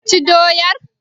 Ka ci doyar?